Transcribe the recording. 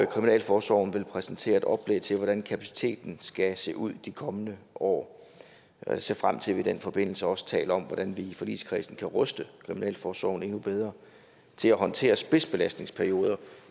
kriminalforsorgen vil præsentere et oplæg til hvordan kapaciteten skal se ud de kommende år jeg ser frem til at vi i den forbindelse også taler om hvordan vi i forligskredsen kan ruste kriminalforsorgen endnu bedre til at håndtere spidsbelastningsperioder